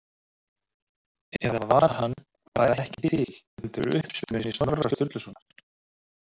Eða var hann bara ekki til heldur uppspuni Snorra Sturlusonar?